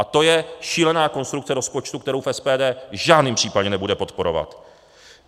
A to je šílená konstrukce rozpočtu, kterou SPD v žádném případě nebude podporovat.